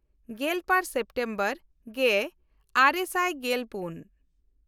ᱜᱮᱞᱵᱟᱨ ᱥᱮᱯᱴᱮᱢᱵᱚᱨ ᱜᱮᱼᱟᱨᱮ ᱥᱟᱭ ᱜᱮᱞᱯᱩᱱ